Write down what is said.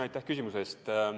Aitäh küsimuse eest!